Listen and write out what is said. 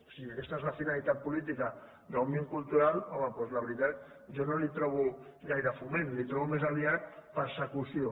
si aquesta és la finalitat política d’òmnium cultural home doncs la veritat jo no hi trobo gaire foment hi trobo més aviat persecució